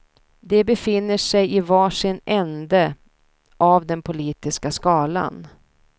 De befinner sig i var sin ände av den politiska skalan.